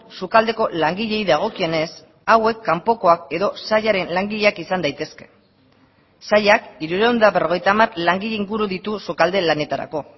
sukaldeko langileei dagokienez hauek kanpokoak edo sailaren langileak izan daitezke sailak hirurehun eta berrogeita hamar langile inguru ditu sukalde lanetarako